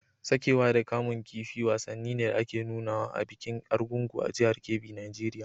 Saƙewa da kamun kifi wasanni ne da ake nunawa a bikin Argungu a jihar Kebbi Nijeriya.